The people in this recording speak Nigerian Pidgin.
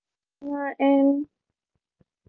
um nan um